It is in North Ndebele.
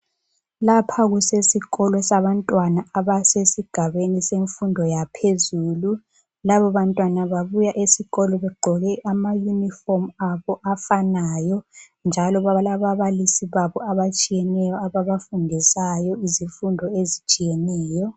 Lapha kusesikolo sabantwana abasesigabeni semfundo yaphezulu. Laba bantwana babuya esikolo begqoke amayunifomu abo afanayo. Njalo balababalisi babo abatshiyeneyo ababafundisayo izifundo ezitshiyeneyo.